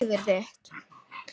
Að ganga með eitthvað í maganum